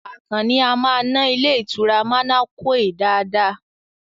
Àkànó a máa ná ilé ìtura manequal dáadáa